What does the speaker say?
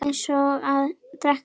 Eins og að drekka vatn.